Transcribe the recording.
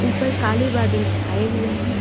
ऊपर काले बादल छाए हुए हैं।